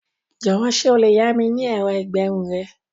Jọ̀wọ́ ṣé o lè yá mi ní ẹ̀rọ ìgbẹrun rẹ?